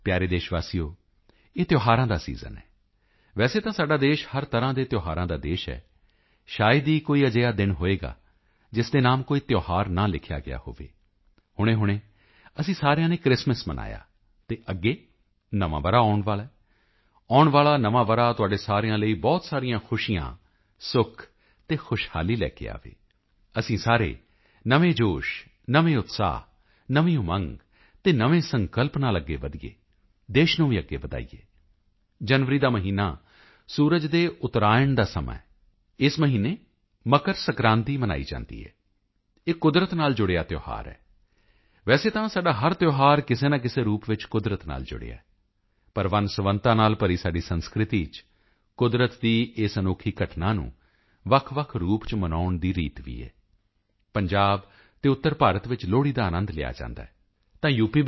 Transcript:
ਪਿਆਰੇ ਦੇਸ਼ ਵਾਸੀਓ ਇਹ ਤਿਓਹਾਰਾਂ ਦਾ ਸੀਜ਼ਨ ਸੀਜ਼ਨ ਹੈ ਵੈਸੇ ਤਾਂ ਸਾਡਾ ਦੇਸ਼ ਹਰ ਤਰ੍ਹਾਂ ਦੇ ਤਿਓਹਾਰਾਂ ਦਾ ਦੇਸ਼ ਹੈ ਸ਼ਾਇਦ ਹੀ ਕੋਈ ਅਜਿਹਾ ਦਿਨ ਹੋਵੇਗਾ ਜਿਸ ਦੇ ਨਾਮ ਕੋਈ ਤਿਓਹਾਰ ਨਾ ਲਿਖਿਆ ਗਿਆ ਹੋਵੇ ਹੁਣੇਹੁਣੇ ਅਸੀਂ ਸਾਰਿਆਂ ਨੇ ਕ੍ਰਿਸਮਿਸ ਮਨਾਈ ਹੈ ਤੇ ਅੱਗੇ ਨਵਾਂ ਵਰ੍ਹਾ ਆਉਣ ਵਾਲਾ ਹੈ ਆਉਣ ਵਾਲਾ ਨਵਾਂ ਵਰ੍ਹਾ ਤੁਹਾਡੇ ਸਾਰਿਆਂ ਲਈ ਬਹੁਤ ਸਾਰੀਆਂ ਖੁਸ਼ੀਆਂ ਸੁੱਖ ਅਤੇ ਖੁਸ਼ਹਾਲੀ ਲੈ ਕੇ ਆਵੇ ਅਸੀਂ ਸਾਰੇ ਨਵੇਂ ਜੋਸ਼ ਨਵੇਂ ਉਤਸ਼ਾਹ ਨਵੀਂ ਉਮੰਗ ਅਤੇ ਨਵੇਂ ਸੰਕਲਪ ਨਾਲ ਅੱਗੇ ਵਧੀਏ ਦੇਸ਼ ਨੂੰ ਵੀ ਅੱਗੇ ਵਧਾਈਏ ਜਨਵਰੀ ਦਾ ਮਹੀਨਾ ਸੂਰਜ ਦੇ ਉਤਰਾਇਣ ਦਾ ਸਮਾਂ ਹੈ ਅਤੇ ਇਸ ਮਹੀਨੇ ਮੱਕਰ ਸੰਕ੍ਰਾਂਤੀ ਮਨਾਈ ਜਾਂਦੀ ਹੈ ਇਹ ਕੁਦਰਤ ਨਾਲ ਜੁੜਿਆ ਤਿਓਹਾਰ ਹੈ ਵੈਸੇ ਤਾਂ ਸਾਡਾ ਹਰ ਤਿਓਹਾਰ ਕਿਸੇ ਨਾ ਕਿਸੇ ਰੂਪ ਵਿੱਚ ਕੁਦਰਤ ਨਾਲ ਜੁੜਿਆ ਹੈ ਪਰ ਵੰਨਸੁਵੰਨਤਾ ਨਾਲ ਭਰੀ ਸਾਡੀ ਸੰਸਕ੍ਰਿਤੀ ਚ ਕੁਦਰਤ ਦੀ ਇਸ ਅਨੋਖੀ ਘਟਨਾ ਨੂੰ ਵੱਖਵੱਖ ਰੂਪ ਚ ਮਨਾਉਣ ਦੀ ਰੀਤ ਵੀ ਹੈ ਪੰਜਾਬ ਅਤੇ ਉੱਤਰ ਭਾਰਤ ਚ ਲੋਹੜੀ ਦਾ ਆਨੰਦ ਲਿਆ ਜਾਂਦਾ ਹੈ ਤਾਂ ਯੂ